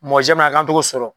k'an t'o ko sɔrɔ.